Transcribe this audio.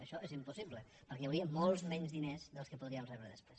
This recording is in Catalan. això és impossible perquè hi hauria molts menys diners dels que podríem rebre després